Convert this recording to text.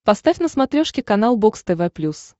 поставь на смотрешке канал бокс тв плюс